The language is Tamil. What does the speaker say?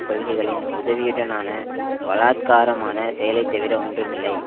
கொள்கைகளின் உதவியுடனான பலாத்காரமான செயலைத்தவிர ஒன்றுமில்லை